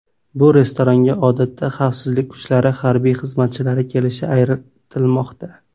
Bu restoranga odatda xavfsizlik kuchlari harbiy xizmatchilari kelishi aytilmoqda.